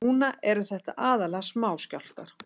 Núna séu þetta aðallega smáskjálftar